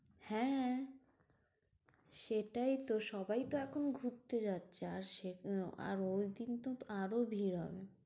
হ্যাঁ সেটাই তো সবাই তো এখন ঘুরতে যাচ্ছে আর ওই দিনতো আরও ভিড় হবে।